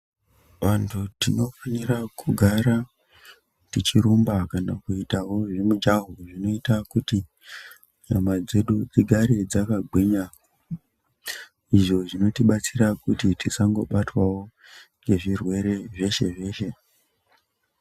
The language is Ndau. Vantu tinofanirawo kugara tichirumba kana kuitawo mujaho zvinoita kuti nyama dzedu dzigare dzakagwinya izvo zvinotibatsira kuti tisangobatwawo ngezvirwere zveshe zveshe.